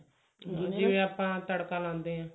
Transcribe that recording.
ਜਿਵੇਂ ਆਪਾਂ ਤੜਕਾ ਲਗਾਉਂਦੇ ਹਾਂ